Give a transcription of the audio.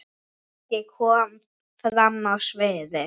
Maggi kom fram á sviðið.